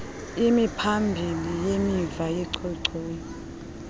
imiphambili nemiva yenchochoyi